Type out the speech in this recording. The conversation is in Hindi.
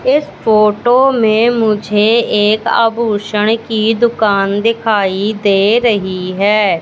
इस फोटो में मुझे एक आभूषण की दुकान दिखाई दे रही है।